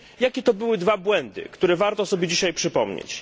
Jakie to były dwa błędy, które warto sobie dzisiaj przypomnieć?